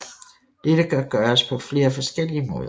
Dette kan gøres på flere forskellige måder